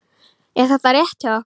Er þetta rétt hjá okkur?